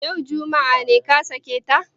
Yau, juma'a, ne ka sake ta?